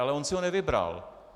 Ale on si ho nevybral.